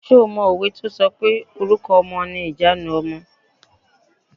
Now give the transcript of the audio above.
Ṣé o mọ òwe tí o sọ pé "Orúkọ ọmọ ni ìjanu ọmọ".